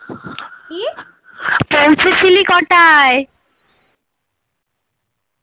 পৌঁছেসিলি কটায়